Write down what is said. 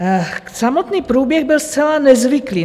Samotný průběh byl zcela nezvyklý.